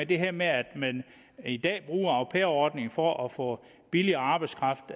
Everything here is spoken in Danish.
det her med at man i dag bruger au pair ordningen for at få billig arbejdskraft